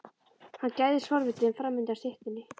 Hann gægðist forvitinn fram undan styttunni.